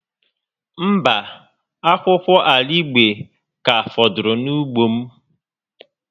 Mba, akwụkwọ arigbe ka fọdụrụ na ugbo m